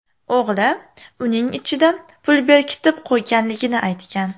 O‘g‘li uning ichida pul berkitib qo‘yganligini aytgan.